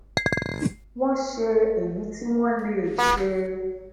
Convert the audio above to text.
wọn se eyi ti wọn lè se